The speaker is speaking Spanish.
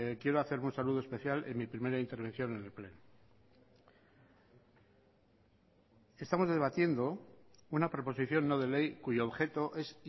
quiero hacer un saludo especial en mi primera intervención en el pleno estamos debatiendo una proposición no de ley cuyo objeto es